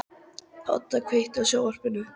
Óda, kveiktu á sjónvarpinu.